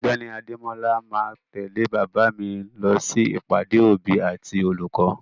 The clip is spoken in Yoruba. Ọ̀gbẹ́ni Adémọ́la ma tẹ̀lé bàbá mi lọ sí ìpàdé òbí àti olùkọ́.